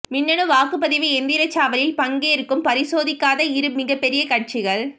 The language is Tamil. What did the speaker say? மின்னணு வாக்குப்பதிவு எந்திர சவாலில் பங்கேற்றும் பரிசோதிக்காத இரு மிகப்பெரிய கட்சிகள்